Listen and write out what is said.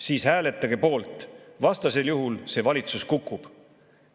Siis hääletage poolt, vastasel juhul see valitsus kukub.